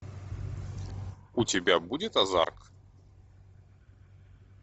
у тебя будет озарк